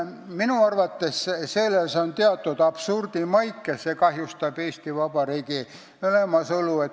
Minu arvates on selles teatud absurdimaik ja see kahjustab Eesti Vabariigi olemasolu.